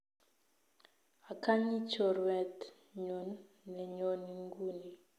Akanyi chorwet nyun ne nyone nguni.